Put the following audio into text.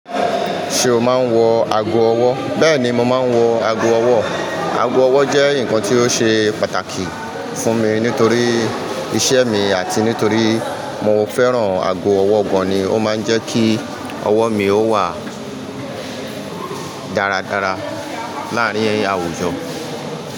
Ṣé o máa ń wọ ago ọwọ́? Bẹ́ẹ̀ni mo máa ń wọ ago ọwọ́. Ago ọwọ́ jẹ́ nǹkan tí ó ṣe pàtàkì fún mi nítorí iṣẹ́ mi àti nítorí mo fẹ́ràn ago ọwọ́ gan-an ni ó máa ń jẹ́ kí ọwọ́ mi ó wà dáradára láàárín àwùjọ.